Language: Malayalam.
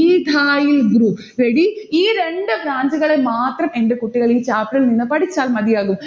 ethyl group ready ഈ രണ്ട് branch ഉകളെ മാത്രം എന്റെ കുട്ടികൾ ഈ chapter ഇൽ നിന്ന് പഠിച്ചാൽ മതിയാകും.